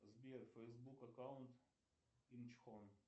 сбер фейсбук аккаунт инчхон